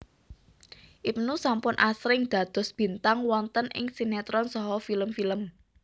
Ibnu sampun asring dados bintang wonten ing sinétron saha film film